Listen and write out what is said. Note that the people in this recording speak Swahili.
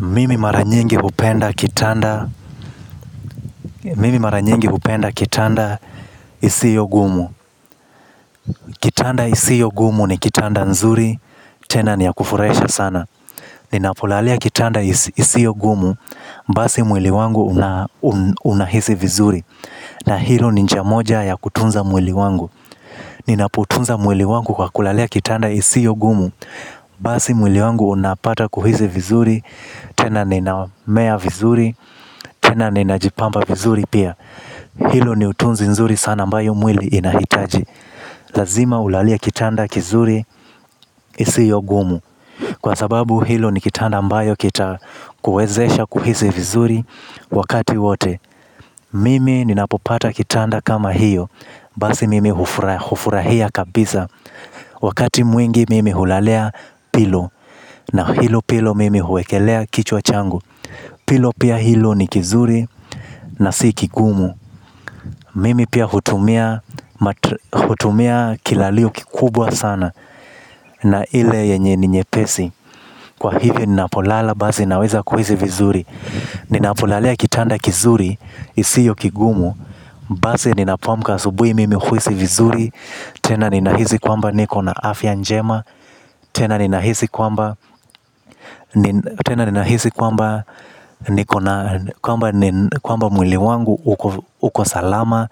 Mimi mara nyingi hupenda kitanda isiyo gumu. Kitanda isiyo gumu ni kitanda nzuri, tena ni ya kufurahisha sana. Ninapolalia kitanda isiyo gumu, basi mwili wangu unahisi vizuri. Na hilo ni njia moja ya kutunza mwili wangu. Ninapotunza mwili wangu kwa kulalia kitanda isiyo gumu, basi mwili wangu unapata kuhisi vizuri, tena ninahema vizuri, tena ninajipampa vizuri. Pia hilo ni utunzi nzuri sana ambayo mwili inahitaji. Lazima ulalie kitanda kizuri isiyo gumu. Kwa sababu hilo ni kitanda mbayo kita kuwezesha kuhisi vizuri wakati wote. Mimi ninapopata kitanda kama hiyo. Basi mimi hufurahia kabisa. Wakati mwengi mimi hulalea pillow na hilo pillow mimi huwekelea kichwa changu. Pillow pia hilo ni kizuri na si kigumu. Mimi pia hutumia kilalio kikubwa sana. Na ile yenye ninyepesi. Kwa hivyo ninapolala basi naweza kuhisi vizuri. Ninapolalia kitanda kizuri isiyo kigumu. Basi ninapoamka asubuhi mimi huisi vizuri. Tena ninahisi kwamba niko na afya njema. Tena ninahisi kwamba, tena ninahisi kwamba niko na kwamba mwili wangu uko salama.